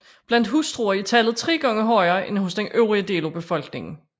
Blandt hustruer er tallet tre gange højere end hos den øvrige del af befolkningen